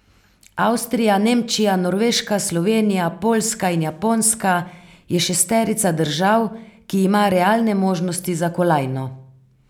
Avstrija, Nemčija, Norveška, Slovenija, Poljska in Japonska je šesterica držav, ki ima realne možnosti za kolajno.